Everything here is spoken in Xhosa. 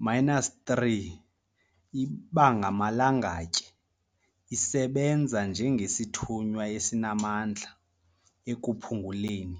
-3 ibangamalangatye, isebenza njengesithunywa esinamandla ekuphunguleni,